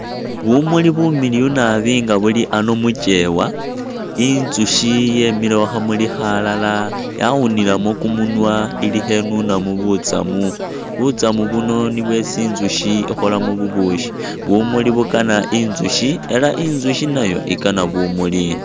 Bumuli bumiliyu nabi nga buli ano mukyewa, inzusyi yemile khu khamuli khalala yawunilemu kumunwa ili khenunamu butsamu, butsamu buno nibwo isi inzusyi ikholamu bubusyi. Bumuli bukana inzusyi ela inzusyi nayo ikana bumuli.